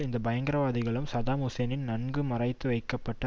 இந்த பயங்கரவாதிகளும் சதாம் ஹூசேனின் நன்கு மறைத்து வைக்கப்பட்ட